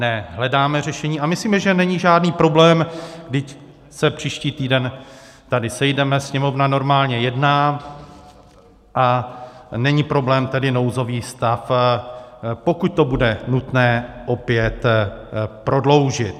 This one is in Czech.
Ne, hledáme řešení a myslíme, že není žádný problém, vždyť se příští týden tady sejdeme, Sněmovna normálně jedná, a není problém tedy nouzový stav, pokud to bude nutné, opět prodloužit.